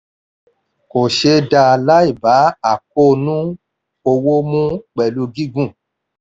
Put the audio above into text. kò ṣeé dáa láì bá àkóónú owó mu pẹ̀lú gígùn.